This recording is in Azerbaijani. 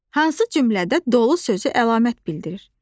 Hansı cümlədə dolu sözü əlamət bildirir?